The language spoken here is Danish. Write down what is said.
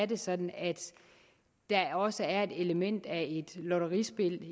det sådan at der også er et element af lotterispil